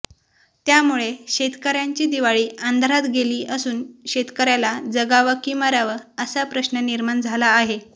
त्यामुळे शेतकऱ्याची दिवाळी अंधारात गेली असून शेतकऱ्याला जगावं की मरावं असा प्रश्न निर्माण झालेला आहे